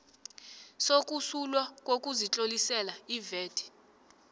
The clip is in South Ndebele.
sokusulwa kokuzitlolisela ivat